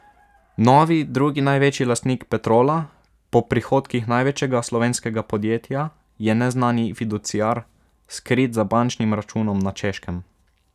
Novi drugi največji lastnik Petrola, po prihodkih največjega slovenskega podjetja, je neznani fiduciar, skrit za bančnim računom na Češkem.